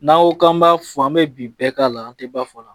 N'an ko k'an b'a fɔ an bɛ bi bɛɛ k'a la an tɛ ba fɔ la